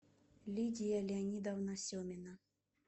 лидия леонидовна семина